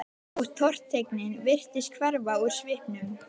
Og tortryggnin virtist hverfa úr svipnum.